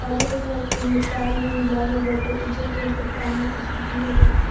हरियर कलर के उमे काई-उई लागल बाटे उजर कलर के पानी ऊपर से गिरा ताटे।